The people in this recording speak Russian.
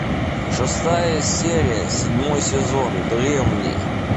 шестая серия седьмой сезон древние